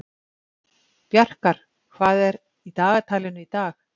Bjarkar, hvað er í dagatalinu í dag?